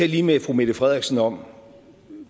lige med fru mette frederiksen om